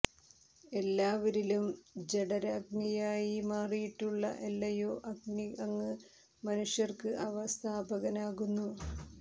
എല്ലാവരിലും ജടരാഗ്നിയായി മാറിയിട്ടുള്ള അല്ലയോ അഗ്നീ അങ്ങ് മനുഷ്യര്ക്ക് അവ സ്ഥാപകനാകുന്നു